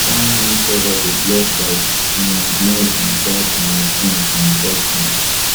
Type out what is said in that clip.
farm hand cover dey block bite um nail and sharp um tin from cut you